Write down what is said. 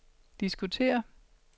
diskutere